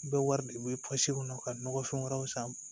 U bɛ wari u bɛ kɔnɔ ka nɔgɔ fɛn wɛrɛw san